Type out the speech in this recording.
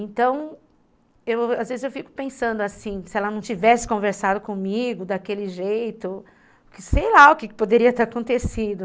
Então, às vezes eu fico pensando assim, se ela não tivesse conversado comigo daquele jeito, sei lá o que poderia ter acontecido.